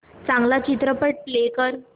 चांगला चित्रपट प्ले कर